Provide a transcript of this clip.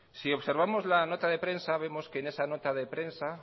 si observamos la nota de prensa vemos que en esa nota de prensa